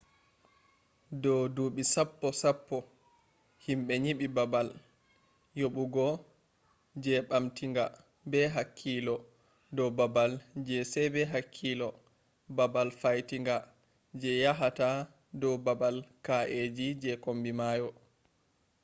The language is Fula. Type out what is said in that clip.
do dubi sappo sappo himbe nyibi babal yabugo je bamtinga be hakkilo do babal je sai be hakkilo babal faitinga je yahata do babal kaeji je kombi mayo